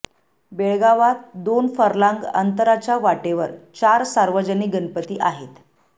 बेळगावात दोन फर्लांग अंतराच्या वाटेवर चार सार्वजनिक गणपती आहेत